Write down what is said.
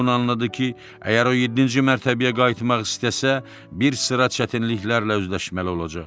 əgər o yeddinci mərtəbəyə qayıtmaq istəsə, bir sıra çətinliklərlə üzləşməli olacaq.